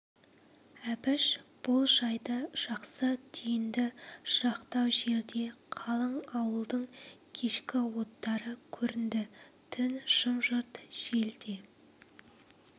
әбіш бұл жайды жақсы түйді жырақтау жерде қалың ауылдың кешкі оттары көрінді түн жым-жырт жел де